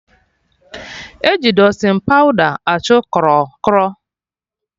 Eji Dustịn pawda achụ krọ krọ